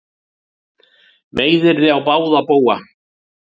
Meiðyrði á báða bóga